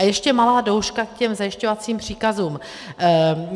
A ještě malá douška k těm zajišťovacím příkazům.